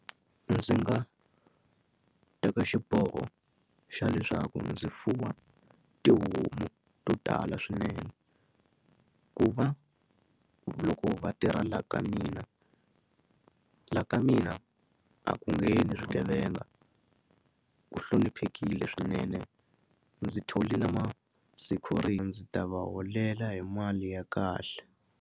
Ndzi nga teka xiboho xa leswaku ndzi fuwa tihomu to tala swinene ku va loko va tirha laha ka mina laha ka mina a ku nge yivi swigevenga ku hloniphekile swinene ndzi thole na ndzi ta va holela hi mali ya kahle.